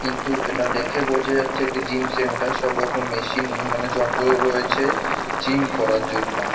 কিন্তু এটা দেখে বোঝা যাচ্ছে একটি জিম সেন্টার সবরকম মেশিন মানে যন্ত্র রয়েছে জিম করার জন্য।